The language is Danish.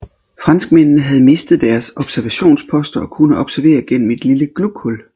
Franskmændene havde mistet deres observationsposter og kunne observere gennem et lille glughul